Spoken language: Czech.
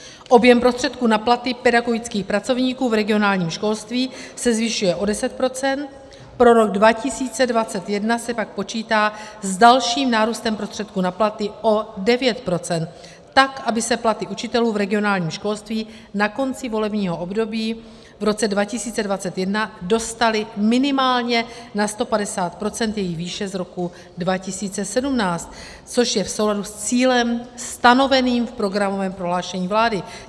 Objem prostředků na platy pedagogických pracovníků v regionálním školství se zvyšuje o 10 %, pro rok 2021 se pak počítá s dalším nárůstem prostředků na platy o 9 %, tak aby se platy učitelů v regionálním školství na konci volebního období v roce 2021 dostaly minimálně na 150 % jejich výše z roku 2017, což je v souladu s cílem stanoveným v programovém prohlášení vlády.